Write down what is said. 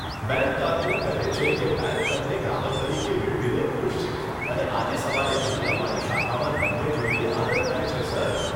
Bank કારકુન કહે છે કે, બેંક તમને ગ્રાહક તરીકે મેળવીને ખુશ છે અને આજે સવારે અહીં અમારી શાખામાં તમને જોઈને આનંદ થાય છે, સર!